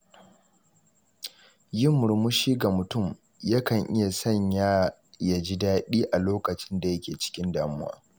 Yin murmushi ga mutum yakan iya sanya ya ji daɗi a lokacin da yake cikin damuwa.